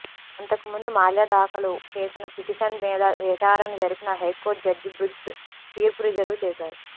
అంతకుముందు మాల్యా దాఖలు చేసిన పిటిషన్ మీద విచారణ జరిపిన హైకోర్టు జడ్జి బ్రిగ్స్ తీర్పు రిజర్వు చేశారు